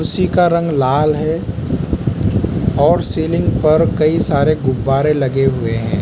उसी का रंग लाल हैं और सीलिंग पर कई सारे गुब्बारे लगे हुए हैं।